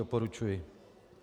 Doporučuji.